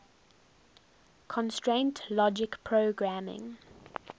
constraint logic programming